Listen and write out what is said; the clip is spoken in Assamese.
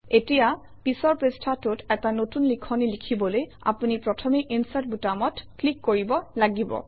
এতিয়া পিছৰ পৃষ্ঠাটোত এটা নতুন লিখনি লিখিবলৈ আপুনি প্ৰথমে ইনচাৰ্ট বুটামটোত ক্লিক কৰিব লাগিব